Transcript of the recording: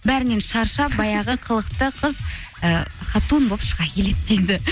бәрінен шаршап баяғы қылықты қыз і хатун болып шыға келеді дейді